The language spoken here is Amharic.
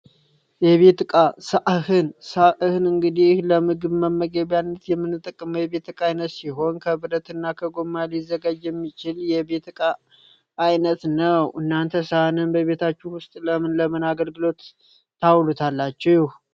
የቤት እቃ ሳህን ሳህን እንግዲህ ለመመገቢያነት የምንጠቀምበት የቤት እቃ ሲሆን ከብረት እና ከጎማ ሊዘጋጅ የሚችል የቤት እቃ አይነት ነው። እናንተ ሳህንን በቤታችሁ ውስጥ ንምነ ለምን አገልግሎት ታውሉታላችሁ?